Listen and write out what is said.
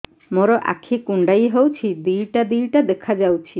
ମୋର ଆଖି କୁଣ୍ଡାଇ ହଉଛି ଦିଇଟା ଦିଇଟା ଦେଖା ଯାଉଛି